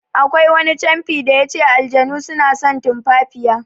Akwai wani canfi da yace "Aljanu suna son tumfafiya".